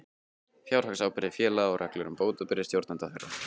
Fjárhagsábyrgð félaga og reglur um bótaábyrgð stjórnenda þeirra.